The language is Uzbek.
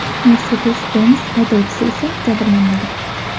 Mercedes-Benz haydovchisi esa jabrlanmagan.